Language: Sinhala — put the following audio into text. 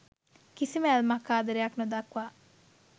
කිසිම ඇල්මක් ආදරයක් නොදක්වා